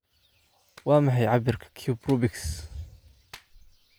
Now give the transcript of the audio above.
waa maxay cabbirka cube rubix